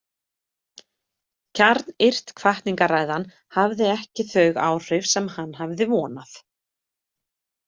Kjarnyrt hvatningarræðan hafði ekki þau áhrif sem hann hafði vonað.